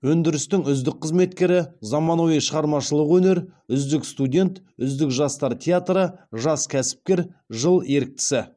өндірістің үздік қызметкері заманауи шығармашылық өнер үздік студент үздік жастар театры жас кәсіпкер жыл еріктісі